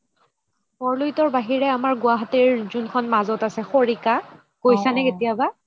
বৰলোহিতৰ বাহিৰে আমাৰ গুৱাহাতিৰ মাজ্ত যোনখন আছে খৰিকা গৈছা নে কেতিয়াবা